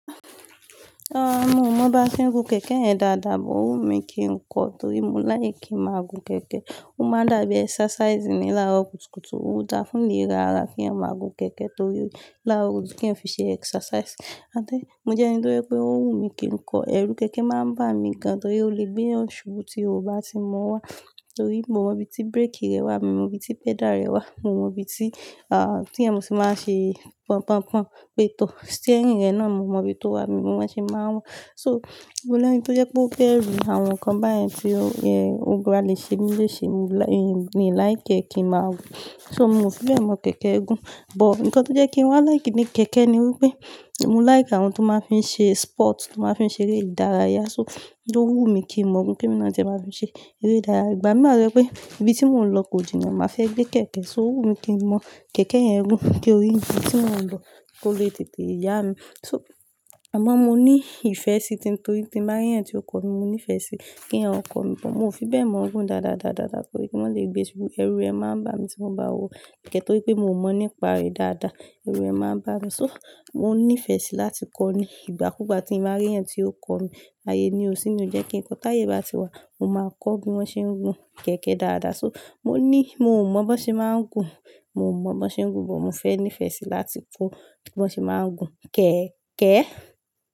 Rárá, mo mọ bá ti ń gun kẹ̀kẹ́ yẹn dáadáa, but ó wù mí kí n kọ, torí mo like kí n máa gun kẹ̀kẹ́. Ó máa dàbí exercise ni láro kùtùkùtù, ó dá fún léra ara kí ẹniyan máa gun kẹ̀kẹ́ torí láró kùtùkùtù kí ẹniyan fi ṣe exercise. Àti mo jẹ́ ẹni tó je pé ó wù mí kí n kọ. Ẹ̀rù kẹ̀kẹ́ máa ń bà mí gan torí ó le gbé ènìyàn subu tí o bá ti mọ wá. Torí mio mọ ibi tí brake rẹ̀ wà, mio mọ ibi tí pedal rẹ̀ wà, mio mọ ibi tí, ah, tí ẹniyan tí máa ṣe pọn pọn pọn, pé tó. Steering rẹ̀ náà mio mọ ibi tó wà, mio mọ bí wọ́n ṣe máa ń wa. So, mo lẹ́ni tó jẹ́ pé ó bẹ̀rù àwọn nǹkan báyẹn tí ó, ẹ, ó bale ṣe mí lese, mio like kí n máa gun. So, mi ò fi bẹ́ẹ̀ mọ kẹ̀kẹ́ gún, but nǹkan tó jẹ́ kí n wá like ní kẹ̀kẹ́ ni wípé mo like àwọn tó máa ń fi ṣe sport, tó máa ń fi ṣe eré ìdárayá. So, ó wù mí kí n mọ gun kí èmi naa tie máa fi ṣe eré ìdárayá. Ìgbà míì wá to jẹ́ pé ibi tí mò ń lọ kò jìnà máa fẹ́ gbé kẹ̀kẹ́, so ó wù mí kí n mọ kẹ̀kẹ́ yẹn gún kí orí ibi tí mò ń lọ kó le tètè yá mi. So, àmọ́ mo ní ìfẹ́ sí i, torí tí màá rí ẹniti ó kọ́ mi, mo ní ìfẹ́ sí kí ẹniyan ò kọ́ mi, but mi ò fi bẹ́ẹ̀ mọ̀ ọ́n gún dáadáa, dáadáa torí kí wọ́n lè gbé ṣubú, ẹ̀rù ẹ máa ń bà mí tí mo bá wo kẹ̀kẹ́ torí pé mo mọ̀ nípa rẹ̀ dáadáa. Ẹ̀rù ẹ máa ń bà mí. So, mo nífẹ̀ẹ́ síi láti kọ́ ọ ní ìgbà kú ìgbà tí màá rí ẹniti ó kọ́ mi. Ayé nío si ni ó jẹ́ kín ko, táyè bá ti wá, mo máa kọ́ bí wọ́n ṣe ń gun kẹ̀kẹ́ dáadáa. So, mo ní, mio mọ bó ṣe máa ń gun, mio mọ bó ṣe ń gun, but mo fẹ́ nífẹ̀ẹ́ síi láti kọ́ bí wọ́n ṣe máa ń gun kẹ̀kẹ́.